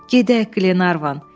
Gedək Glenarvan.